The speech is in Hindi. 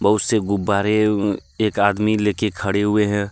उसे गुब्बारे उम एक आदमी लेके खड़े हुए हैं।